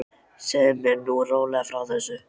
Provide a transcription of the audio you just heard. Segðu mér nú rólega frá þessu.